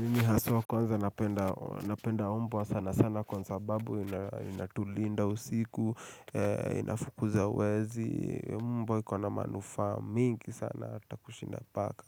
Mimi haswa kwanza napenda mbwa sana sana kwa sababu inatulinda usiku, inafukuza wezi, mbwa ikona manufaa mingi sana ata kushinda paka.